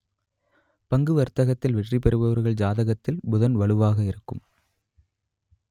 பங்கு வர்த்தகத்தில் வெற்றி பெறுபவர்கள் ஜாதகத்தில் புதன் வலுவாக இருக்கும்